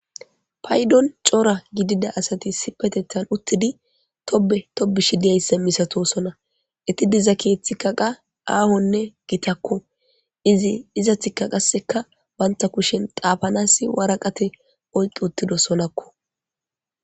Paydon cora gidida asati si petethan uttidi tobe tobishi diyayssa misatosona iti diza keeththi kaqa aahonne gitakko izi iza tikaqaseka banta kushen qaafanasi waraqate oyqi uttido sonakko.